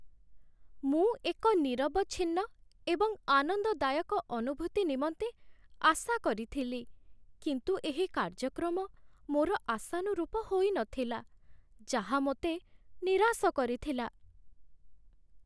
ମୁଁ ଏକ ନିରବଚ୍ଛିନ୍ନ ଏବଂ ଆନନ୍ଦଦାୟକ ଅନୁଭୂତି ନିମନ୍ତେ ଆଶା କରିଥିଲି, କିନ୍ତୁ ଏହି କାର୍ଯ୍ୟକ୍ରମ ମୋର ଆଶାନୁରୂପ ହୋଇନଥିଲା, ଯାହା ମୋତେ ନିରାଶ କରିଥିଲା।